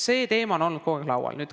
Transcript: See teema on olnud kogu aeg laual.